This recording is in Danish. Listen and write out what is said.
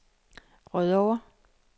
Rødovre